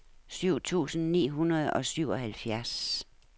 syv tusind ni hundrede og syvoghalvfjerds